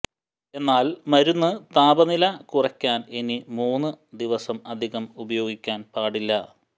എന്നാൽ മരുന്ന് താപനില കുറയ്ക്കാൻ ഇനി മൂന്നു ദിവസം അധികം ഉപയോഗിക്കാൻ പാടില്ല